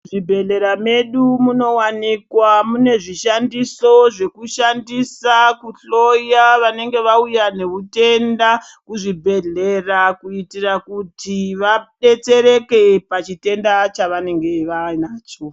Muzvibhehlera medu munowanika mune zvishandiso zvekushandisa kuhloya vanenge vauya nehutenda kuzvibhehlera kuitira kuti vadetsereke pachitenda chavanenge vanacho.